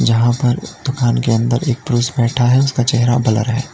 जहां पर दुकान के अंदर एक पुरुष बैठा है उसका चेहरा ब्लर है।